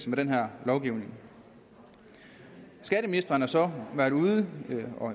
med den her lovgivning skatteministeren har så været ude